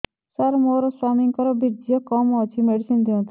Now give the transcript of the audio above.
ସାର ମୋର ସ୍ୱାମୀଙ୍କର ବୀର୍ଯ୍ୟ କମ ଅଛି ମେଡିସିନ ଦିଅନ୍ତୁ